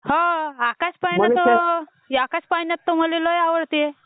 हो आकाश पाळणा तर आकाश पाळणा मला लय आवडते.